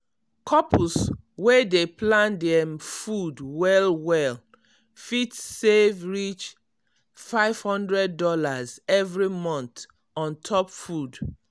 couples wey dey plan dem food well well fit save reach five hundred dollars every month on top food.